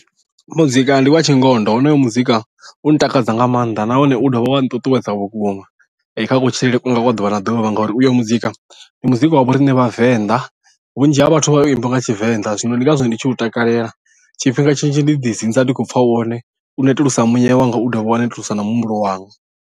Muzika ndi wa tshingondo honoyo muzika u ntakadza nga maanḓa nahone u dovha wa nṱuṱuwedza vhukuma kha kutshilele kwanga kwa ḓuvha na ḓuvha ngauri uyo muzika ndi muzika wa vho riṋe vhavenḓa vhunzhi ha vhathu vha u imba nga tshivenḓa zwino ndi ngazwo ndi tshi u takalela tshifhinga tshinzhi ndi ḓi dzinza ndi khou pfha wone u netulusa muya wanga u ḓovha wa nettlesa na muhumbulo wanga.